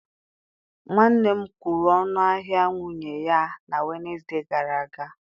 Nwanne m kwụrụ ọnụ ahịa nwunye ya na Wenesde gara aga.